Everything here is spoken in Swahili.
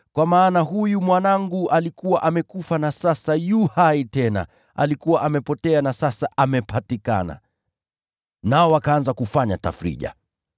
Kwa maana huyu mwanangu alikuwa amekufa na sasa yu hai tena; alikuwa amepotea na sasa amepatikana!’ Nao wakaanza kufanya tafrija.